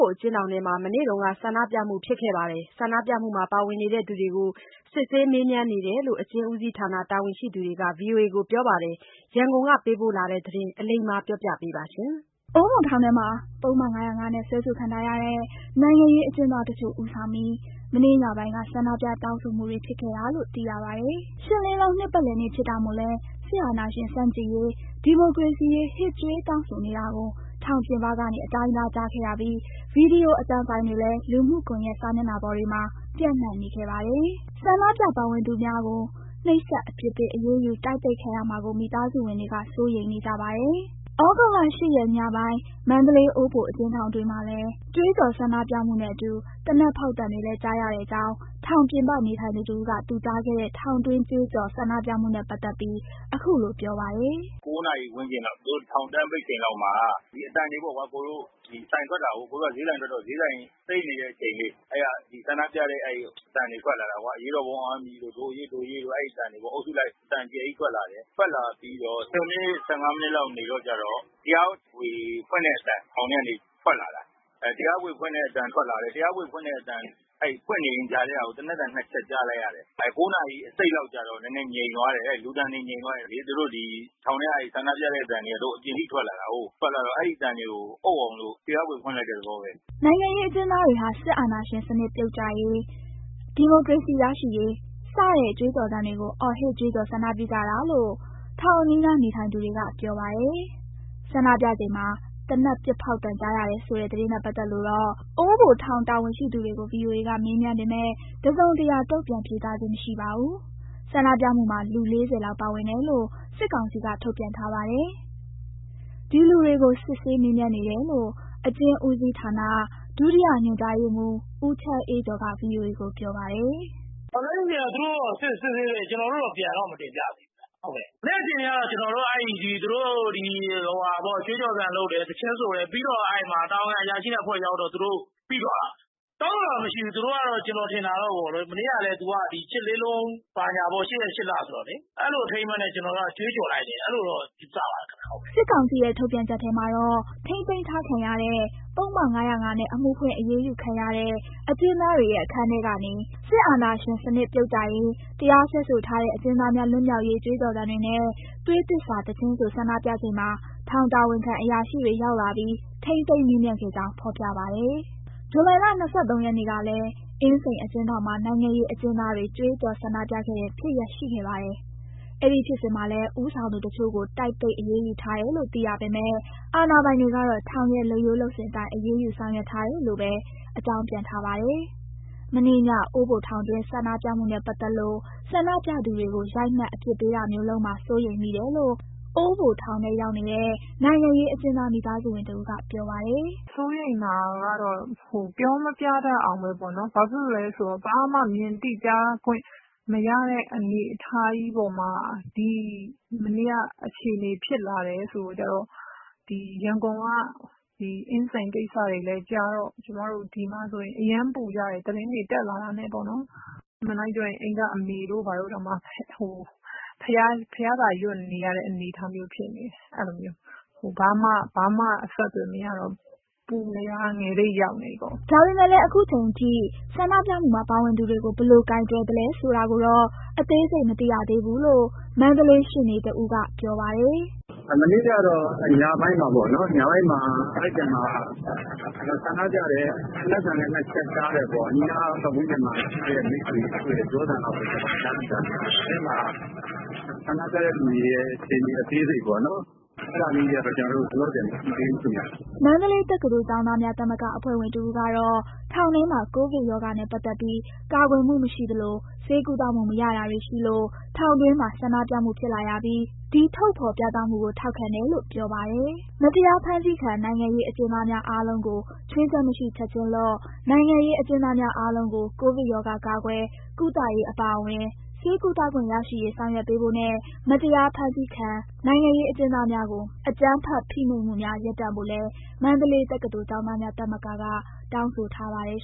ိုအကျဉ်းထောင်ထဲမှာ မနေ့တုန်းက ဆန္ဒပြမှုဖြစ်ခဲ့ပြီး ဆန္ဒပြမှုမှာပါဝင်သူတွေကို စစ်ဆေးမေးမြန်းနေတယ်လို့ အကျဉ်းဦးစီးဌာန တာဝန်ရှိသူတွေက VOA ကို ပြောပါတယ်။ ရန်ကုန်က ပေးပို့လာတဲ့သတင်းကို အလိမ္မာပြောပြမှာပါ။ အိုးဘိုထောင်ထဲမှာ ပုဒ်မ ၅၀၅ နဲ့ စွဲဆိုခံထားရတဲ့ နိုင်ငံရေးအကျဉ်းသားတချို့ဦးဆောင်ပြီး မနေ့ညပိုင်းက ဆန္ဒပြတောင်းဆိုမှုတွေဖြစ်ခဲ့တာလို့သိရပါတယ်။ ရှစ်လေးလုံးနှစ်ပတ်လည်နေ့ဖြစ်တာမို့လည်း စစ်အာဏာရှင်ဆန့်ကျင်ရေး ဒီမိုကရေစီရေး ဟစ်ကြွေးတောင်းဆိုနေတာကို ထောင်ပြင်ပကနေ အတိုင်းသားကြားခဲ့ရပြီး ဗွီဒီယိုအသံဖိုင်တွေလည်း လူမှုကွန်ယက်စာမျက်နှာတွေပေါ်မှာ ပြန့်နှံ့နေခဲ့ပါတယ်။ ဆန္ဒပြပါဝင်သူတွေကို နှိပ်စက် အပြစ်ပေးအရေးယူ တိုက်ပိတ်ခံရမှာကို မိသားစုဝင်တွေက စိုးရိမ်နေပါတယ်။ သြဂုတ်လ၊ ၈ ရက် ညပိုင်း အိုးဘိုအကျဉ်ထောင်တွင်းမှာ ကြွေးကြော်ဆန္ဒပြမှုနဲ့အတူ သေနတ်ဖောက်သံတွေလည်း ကြားရတဲ့အကြောင်း ထောင်ပြင်ပနေထိုင်သူတဦးက သူကြားခဲ့တဲ့ ထောင်တွင်းကြွေးကြော်ဆန္ဒပြမှုနဲ့ပတ်သက်ပြီး အခုလိုပြောပါတယ်။ “၉ နာရီဝန်းကျင်လောက် သူတို့ထောင်တန်းပိတ်ချိန်လောက်မှာ ဒီအသံတွေပေ့ါကွ၊ အကိုတို့ ဒီဆိုင်ထွက်တာကို အကိုတို့က ဈေးဆိုင်ထွက်တော့ ဈေးဆိုင်သိမ်းနေတဲ့အချိန်လေး အဲ့ကဆန္ဒပြတဲ့ အဲ့အသံတွေထွက်လာတာကွ၊ “အရေးတော်ပုံအောင်ရမည်တို့၊.... ဒို့အရေး ဒို့အရေးတို့... အဲ့အသံတွေပေါ့။ အုပ်စုလိုက် အသံအကျယ်ကြီးထွက်လာတယ်။ ထွက်လာပြီးတော့ ၁၀ မိနစ် ၁၅ မိနစ်လောက်နေတော့ ကျတော့ တရားခွေဖွင့်တဲ့အသံ ထောင်ထဲကနေထွက်လာတာ။ အဲ့ တရားခွေ ဖွင့်တဲ့ အသံထွက်လာတယ်။ အဲ့တရားခွေဖွင့်တဲ့အသံ ဖွင့်နေရင်းကြားထဲက သေနတ်သံ နှစ်ချက်ကြားလိုက်ရတယ်။ အဲ့ ၉ နာရီ ၂၅ လောက်ကျတော့ နည်းနည်းငြိမ်သွားတယ်။ လူသံတွေ ငြိမ်သွားတယ်၊ သူတို့ ဒီထောင်ထဲက ဆန္ဒပြတဲ့အသံတွေက အပြင်ထိထွက်လာတာကို ထွက်လာတော့ အဲ့အသံတွေကို အုပ်အောင်လို့ တရားခွေဖွင့်လိုက်တဲ့ သဘောပဲ။” နိုင်ငံရေးအကျဉ်းသားတွေဟာ စစ်အာဏာရှင်စနစ်ပြုတ်ကျရေး၊ ဒီမိုကရေစီရရှိရေး စတဲ့ ကြွေးကြော်သံတွေကို အော်ဟစ်ကြွေးကြော်ဆန္ဒပြကြတာလို့ ထောင်အနီးနေထိုင်သူတွေက ပြောပါတယ်။ ဆန္ဒပြချိန်မှာ သေနက်ပစ်ဖောက်သံကြားရတယ်ဆိုတဲ့ သတင်းနဲ့ပတ်သက်လို့ အိုးဘိုထောင်တာဝန်ရှိသူတွေကို VOA က မေးမြန်းပေမယ့် တစုံတရာတုံ့ပြန်ဖြေကြားခြင်းမရှိပါဘူး။ ဆန္ဒပြမှုမှာ လူ ၄၀ လောက်ပါဝင်တယ်လို့ စစ်ကောင်စီက ထုတ်ပြန်ထားပါတယ်။ ဒီလူတွေကို စစ်ဆေးမေးမြန်းနေတယ်လို့ အကျဉ်းဦးစီးထာန ဒုတိယညွှန်ကြားရေးမှူး ဦးချမ်းအေးကျော်က VOA ကို ပြောပါတယ်။ “လက်ရှိအခြေအနေက သူတို့က စစ်ဆေးနေတယ်။ ကျနော်တို့ကို ပြန်တော့ မတင်ပြရသေးဘူးဗျ။ ဟုတ်ကဲ့။ မနေ့ကအခြေအနေကတော့ကြွေးကြောသံလုပ် တယ်။ သီချင်းဆိုတယ်။ ပြီးတော့ အဲ့မှာတာဝန်ခံအရာရှိနဲ့အဖွဲ့ရောက်တော့ သူတို့ ပြီးသွားတာ၊ တောင်းဆိုတာမရှိဘူး။ မနေ့က- ကျနော်ထင်တာတော့ ဟိုဟာလေ... မနေ့က ဒီ ၈ လေးလုံး.... ဘာညာပေ့ါ။ ၈ ရက်၊ ၈ လဆိုတော့လေ။ အဲ့လိုအထိမ်းအမှတ်နဲ့ ကျနော်တို့ ကြွေးကြော်လိုက်တယ်။ ကျနော်တော့ အဲ့လိုယူဆပါတယ်ခင်ဗျ ဟုတ်။” စစ်ကောင်စီရဲ့ ထုတ်ပြန်ချက်ထဲမှာတော့ ထိန်းသိမ်းထားခံရတဲ့ ပုဒ်မ-၅၀၅ နဲ့ အမှုဖွင့်အရေးယူခံရတဲ့ အကျဉ်းသားတွေရဲ့ အခန်းထဲကနေ စစ်အာဏာရှင်စနစ်ပြုတ်ကျရေး၊ တရားစွဲဆိုထားတဲ့ အကျဉ်းသား များ လွတ်မြောက်ရေး ကြွေးကြော်သံတွေနဲ့ သွေးသစ္စာသီချင်းဆိုဆန္ဒပြချိန်မှာ ထောင်တာဝန်ခံအရာရှိတွေ ရောက်လာပြီး ထိန်းသိမ်း မေးမြန်းခဲ့ကြောင်း ဖော်ပြပါတယ်။ ဇူလိုင်လ ၂၃ ရက်နေ့တုန်းကလည်း အင်းစိန်အကျဉ်းထောင်မှာ နိုင်ငံရေးအကျဉ်းသားတွေ ကြွေးကြော် ဆန္ဒပြခဲ့တဲ့ဖြစ်ရပ်ရှိခဲ့ပါတယ်။ အဲဒီဖြစ်စဉ်မှာလည်း ဦးဆောင်သူတချို့ကို တိုက်ပိတ်အရေးယူထားတယ်လို့သိရပေမယ့် အာဏာပိုင်တွေကတော့ ထောင်ရဲ့လုပ်ရိုးလုပ်စဉ်အတိုင်းအရေးယူဆောင်ရွက်ထားတယ်လို့ပဲ အကြောင်းပြန်ထားပါတယ်။ မနေ့ည အိုးဘိုထောင်တွင်းဆန္ဒပြမှုနဲ့ပတ်သက်လို့ ဆန္ဒပြသူတွေကို ရိုက်နှက်အပြစ်ပေးတာမျိုးလုပ်မှာ စိုးရိမ်မိတယ်လို့ အိုးဘိုထောင်ထဲရောက်နေတဲ့ နိုင်ငံရေးအကျဉ်းသားမိသားစုဝင်တဦးက ပြောပါတယ်။ “စိုးရိမ်တာကတော့ ပြောမပြတတ်အောင်ပဲပေါ့နော်။ ဘာဖြစ်လို့လဲဆိုတော့ ဘာမှမြင်သိကြားခွင့် မရတဲ့ အနေအထားကြီးပေါ်မှာ မနေ့က အခြေအနေဖြစ်လာတယ်ဆိုတာကြားတော့ ဒီရန်ကုန်က အင်းစိန်ကိစ္စတွေလည်းကြားတော့ ကျမတို့ဒီမှာဆိုရင် အရမ်းပူကြတယ်။ သတင်းတွေတက်လာတာနဲ့ပေါေ့နာ်၊ အမှန် တိုင်း ပြောရင် အိမ်က အမေတို့ဘာတို့တောင်မှ ဘုရားစာရွတ်နေရတဲ့ အနေအထားမျိုးဖြစ်နေတယ်။ အဲ့လိုမျိုး၊ ဘာမှအဆက်အသွယ်မရတော့ ပူနေရတာ ငယ်ထိရောက်နေပြီးပေါ့။” ဒါပေမယ့်လည်း အခုအချိန်အထိ ဆန္ဒပြမှုမှာပါဝင်သူတွေကို ဘယ်လို ကိုင်တွယ်သလဲဆိုတာကိုတော့ အသေးစိတ်မသိရသေးဘူးလို့ မန္တလေးရှေ့နေတဦးကပြောပါတယ်။ “မနေ့ကတော့ ညပိုင်းမှာပေါ့နော်။ အဲ့ထဲမှာ ဆန္ဒပြသံနဲ့ သေနတ်သံ နှစ်ချက်ကြားတယ်ပေါ့။ အနီးပတ်ဝန်ကျင်မှာရှိတဲ့ မိတ်ဆွေတွေ ပြောသံလောက်ပဲ ကျနော်တို့ သိထားတာပဲရှိတယ်။ အထဲမှာ ဆန္ဒပြတဲ့ လူတွေရဲ့အခြေအနေအသေးစိတ်ပေါ့နော် အဲ့ဒါမျိုး လောလောဆယ် ကျနော်တို့ မသိသေးဘူးခင်ဗျ။” မန္တလေးတက္ကသိုလ် ကျောင်းသားများသမဂ္ဂအဖွဲ့ဝင်တဦးကတော့ ထောင်ထဲမှာ ကိုဗစ်ရောဂါနဲ့ ပတ်သက်ပြီး ကာကွယ်မှုမရှိသလို ဆေးကုသမှုမရတာတွေရှိလို့ ထောင်တွင်းမှာ ဆန္ဒပြမှုဖြစ်လာရပြီး ဒီထုတ်ဖော်ပြသမှုကို ထောက်ခံတယ်လို့ ပြောပါတယ်။ မတရားဖမ်းဆီးခံ နိုင်ငံရေးအကျဉ်းသားများ အားလုံးကိုချွင်းချက်မရှိ ချက်ချင်းလွှတ်၊ နိုင်ငံရေးအကျဉ်းသားများအားလုံးကို ကိုဗစ်ရောဂါ ကာကွယ်၊ ကုသရေး အပါအဝင် ဆေးကုသခွင့်ရရှိရေး ဆောင်ရွက်ပေးဖို့နဲ့ မတရားဖမ်းဆီးခံ နိုင်ငံရေးအကျဉ်းသားများကို အကြမ်းဖက်ဖိနှိပ်မှုများ ရပ်တန့်ဖို့လည်း မန္တလေးတက္ကသိုလ်ကျောင်းသားများသမဂ္ဂက တောင်းဆိုထားပါတယ်